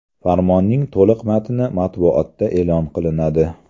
Farmonning to‘liq matni matbuotda e’lon qilinadi.